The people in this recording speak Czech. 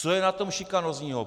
Co je na tom šikanózního?